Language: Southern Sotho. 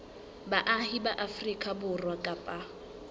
baahi ba afrika borwa kapa